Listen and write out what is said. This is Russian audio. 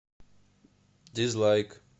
дизлайк